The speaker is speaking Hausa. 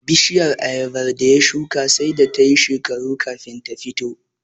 Bishiyar Ayabar da ya shuka sai da tayi shekaru kafin ta fito